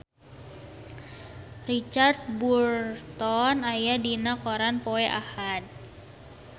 Richard Burton aya dina koran poe Ahad